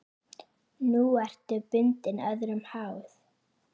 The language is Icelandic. Nú ertu bundin, öðrum háð.